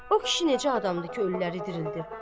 O kişi necə adamdır ki, ölüləri dirildir?